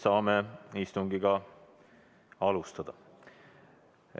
Saame istungit alustada.